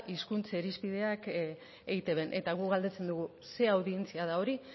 hizkuntza irizpideak eitbn eta guk galdetzen dugu ze audientzia da hori